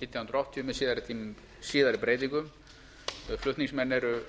nítján hundruð áttatíu með síðari breytingum flutningsmenn eru